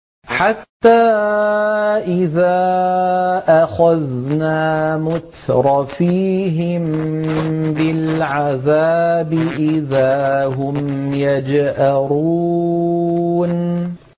حَتَّىٰ إِذَا أَخَذْنَا مُتْرَفِيهِم بِالْعَذَابِ إِذَا هُمْ يَجْأَرُونَ